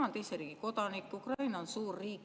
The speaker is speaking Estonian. Ta on teise riigi kodanik, Ukraina on suur riik.